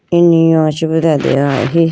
inyi yo chi bi do atega ahi.